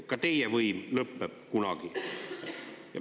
Ka teie võim lõpeb kunagi.